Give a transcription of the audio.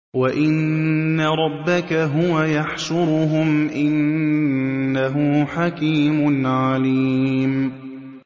وَإِنَّ رَبَّكَ هُوَ يَحْشُرُهُمْ ۚ إِنَّهُ حَكِيمٌ عَلِيمٌ